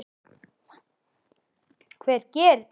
Hver gerir svona?